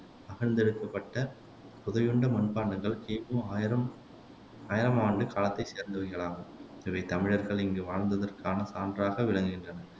அகழ்ந்தெடுக்கப்பட்ட புதையுண்ட மண்பாண்டங்கள் கிமு ஆயிரம் ஆயிரம் ஆண்டு காலத்தைச் சேர்ந்தவைகளாகும் இவை தமிழர்கள் இங்கு வாழ்ந்ததற்கான சான்றாக விளங்குகின்றன